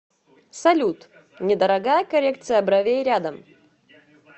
салют недорогая коррекция бровей рядом